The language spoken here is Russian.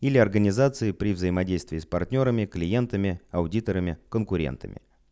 или организации при взаимодействии с партнёрами клиентами аудиторами конкурентами